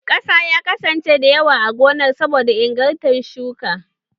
Ƙasa ya kasance da yawa a gonar saboda ingarta shuki.